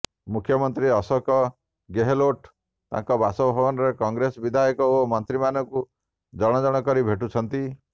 ମୁଖ୍ୟମନ୍ତ୍ରୀ ଅଶୋକ ଗେହଲୋଟ୍ ତାଙ୍କ ବାସଭବନରେ କଂଗ୍ରେସ ବିଧାୟକ ଏବଂ ମନ୍ତ୍ରୀମାନଙ୍କୁ ଜଣ ଜଣ କରି ଭେଟୁଛନ୍ତି